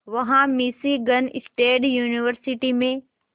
वहां Michigan State University में